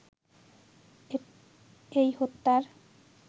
এই হত্যার